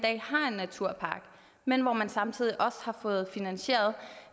naturpark men hvor man samtidig også har fået finansieret